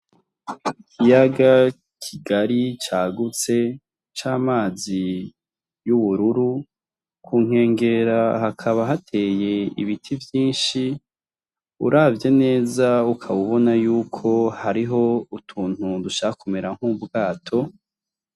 Ikiyaga kigari cagutse c'amazi y' ubururu ku nkengera hakaba hateye ibiti vyinshi uravye neza ukaba ubona yuko hariyo utuntu dushaka kumera nk'ubwato.